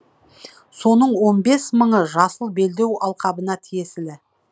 соның он бес мыңы жасыл белдеу алқабына тиесілі